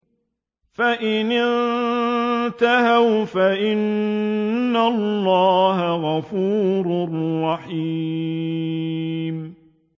فَإِنِ انتَهَوْا فَإِنَّ اللَّهَ غَفُورٌ رَّحِيمٌ